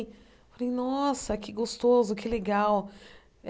Falei nossa que gostoso, que legal.